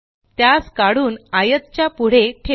त्यास काढून आयत च्या पुढे ठेवू